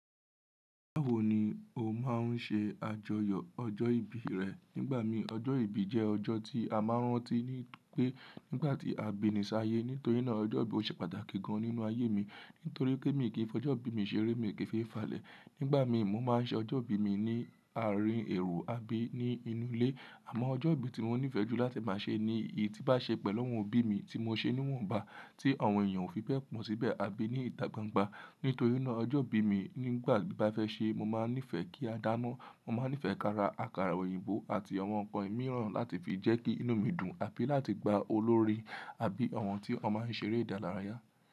Báwo ni o máa ń ṣe àjọyọ̀ ọjọ́ ìbí rẹ? Nígbà mi ọjọ́ ìbí jẹ́ ọjọ́ tí a máa ń rántí ní pé nígbà tí a bi ni ṣáyé. Nítorí náà ọjọ́ ìbí ó ṣe pàtàkì gan nínú ayé mi nítorí pé mi kì í fọ ọjọ́ ìbí mi ṣeré, mi ò kí fi falẹ̀. Nígbà mi mo máa ń ṣe ọjọ́ ìbí mi ní àárín èrò abí ní inú ilé. Àmọ́ ọjọ́ ìbí tí mo nífẹ̀ẹ́ jù láti máa ṣe ni èyí tí bá ṣe pẹ̀lú ọmọ bí mi tí mo ṣe níwọ̀nba, tí àwọn èèyàn ó fi bẹ́ẹ̀ pọ̀ mọ́ síbẹ̀ àbí ní ìta gbangba. Nítorí náà ọjọ́ ìbí mi nígbà tí bá fẹ́ ṣe, mo máa nífẹ̀ẹ́ kí a dáná. Mo máa nífẹ̀ẹ́ kara àkàrà òyìnbó àti àwọn ǹkan mìíràn láti fi jẹ́ kí inú mi dùn àbí láti gba olórí àbí àwọn tí wọn máa ń ṣeré ìdárayá.